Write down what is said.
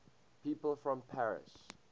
people from paris